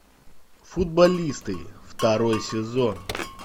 футболисты второй сезон